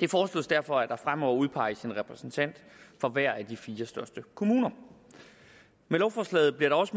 det foreslås derfor at der fremover udpeges en repræsentant for hver af de fire største kommuner med lovforslaget bliver det også